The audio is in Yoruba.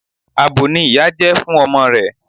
Abo ni ìyá jẹ́ fún ọmọ rẹ̀.